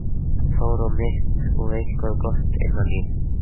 Þór á mitt og eitthvað gott innan í.